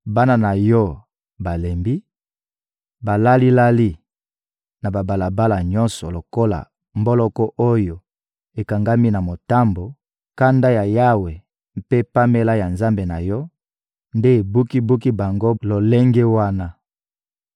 Bana na yo balembi, balali-lali na babalabala nyonso lokola mboloko oyo ekangami na motambo; kanda ya Yawe mpe pamela ya Nzambe na yo nde ebuki-buki bango lolenge wana.